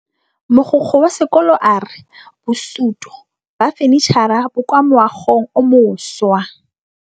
Mogokgo wa sekolo a re bosutô ba fanitšhara bo kwa moagong o mošwa.